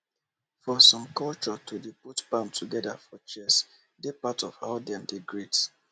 for some cultureto dey put palm together for chest dey part of how dem dey greet